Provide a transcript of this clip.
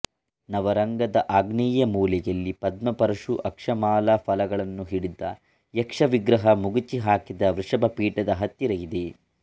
ನವರಂಗದ ಆಗ್ನೇಯ ಮೂಲೆಯಲ್ಲಿ ಪದ್ಮ ಪರಶು ಅಕ್ಷಮಾಲಾ ಫಲಗಳನ್ನು ಹಿಡಿದ ಯಕ್ಷವಿಗ್ರಹ ಮಗುಚಿ ಹಾಕಿದ ವೃಷಭಪೀಠದ ಹತ್ತಿರ ಇದೆ